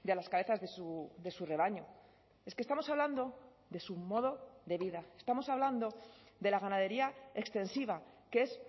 las cabezas de su rebaño es que estamos hablando de su modo de vida estamos hablando de la ganadería extensiva que es